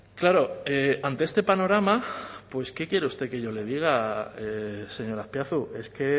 claro ante este panorama qué quiere usted que yo le diga señor azpiazu es que